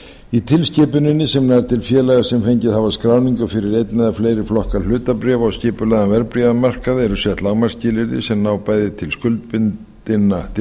í tilskipuninni sem nær til félaga sem fengið hafa skráningu fyrir einn eða fleiri flokka hlutabréfa og skipulegan verðbréfamarkað eru sett lágmarksskilyrði sem ná bæði til skyldubundinna